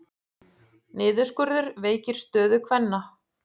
Niðurskurður veikir stöðu kvenna